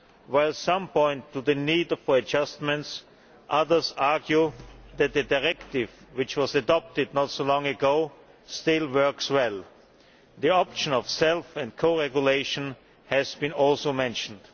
While some point to the need for adjustments, others argue that the directive which was adopted not so long ago still works well. The option of self and co regulation has also been mentioned.